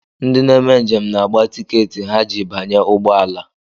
Ndị na-eme njem na-agba tikeetị ha ji banye ụgbọala